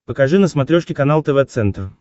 покажи на смотрешке канал тв центр